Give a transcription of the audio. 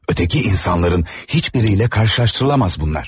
Ötəki insanların heç biriylə qarşılaşdırılamaz bunlar.